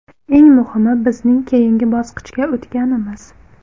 Eng muhimi bizning keyingi bosqichga o‘tganimiz.